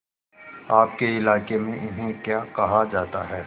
आपके इलाके में इन्हें क्या कहा जाता है